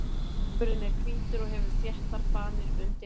Stafurinn er hvítur og hefur þéttar fanir undir hatti.